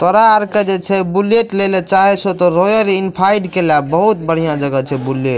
तोरा आर के जे छै बुलेट लेले चाहे छो ते रॉयल एनफाइल्ड के ला बहुत बढ़िया जगह छै बुलेट --